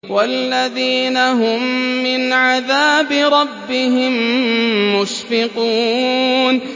وَالَّذِينَ هُم مِّنْ عَذَابِ رَبِّهِم مُّشْفِقُونَ